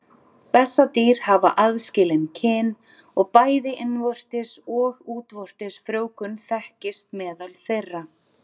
Bessadýr hafa aðskilin kyn og bæði innvortis og útvortis frjóvgun þekkist meðal þeirra.